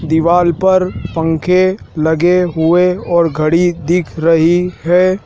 दीवाल पर पंखे लगे हुए और घड़ी दिख रही है।